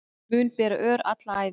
Mun bera ör alla ævi